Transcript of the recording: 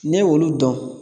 Ne y'olu dɔn